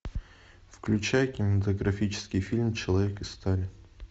включай кинематографический фильм человек из стали